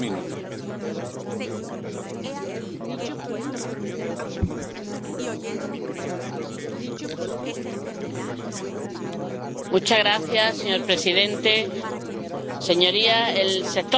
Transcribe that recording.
Señor presidente, señorías, el sector pesquero de la Unión está afrontando retos cada día más difíciles y complejos, como son el estado de los recursos, el aumento de los gastos, las variaciones